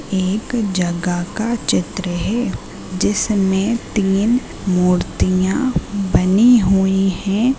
एक जगह का चित्र है। जिसमें तीन मूर्तियाॅं बनी हुई हैं।